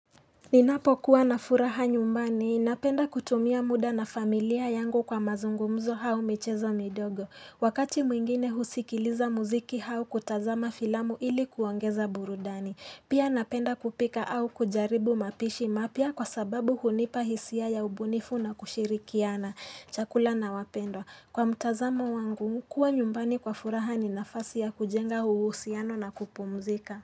Ninapo kuwa na furaha nyumbani, napenda kutumia muda na familia yangu kwa mazungumzo au michezo midogo. Wakati mwingine husikiliza muziki au kutazama filamu ili kuongeza burudani. Pia napenda kupika au kujaribu mapishi mapya kwa sababu hunipa hisia ya ubunifu na kushirikiana, chakula na wapendo. Kwa mutazamo wangu, kuwa nyumbani kwa furaha ni nafasi ya kujenga uhusiano na kupumzika.